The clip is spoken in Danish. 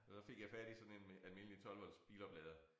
Så fik jeg fat i sådan en almindelig 12 volts biloplader